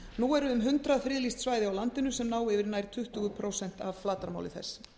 nú eru um hundrað friðlýst svæði á landinu sem ná yfir nær tuttugu prósent af flatarmáli þess